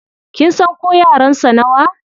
Kin san ko yaran sa nawa?